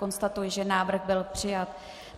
Konstatuji, že návrh byl přijat.